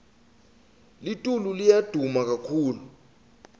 litulu liya duma kakhulu